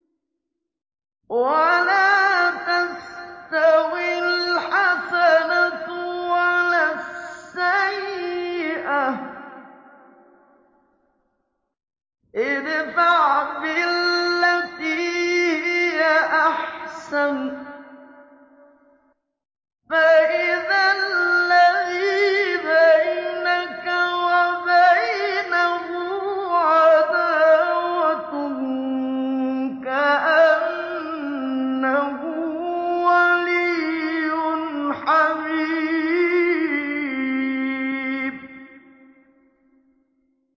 وَلَا تَسْتَوِي الْحَسَنَةُ وَلَا السَّيِّئَةُ ۚ ادْفَعْ بِالَّتِي هِيَ أَحْسَنُ فَإِذَا الَّذِي بَيْنَكَ وَبَيْنَهُ عَدَاوَةٌ كَأَنَّهُ وَلِيٌّ حَمِيمٌ